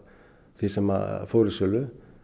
því sem fór í sölu